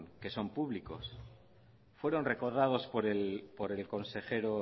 que son públicos fueron recordados por el consejero